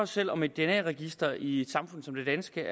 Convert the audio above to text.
selv om et dna register i et samfund som det danske